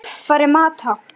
Hvar er Mata?